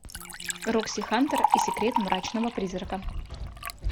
рокси хантер и секрет мрачного призрака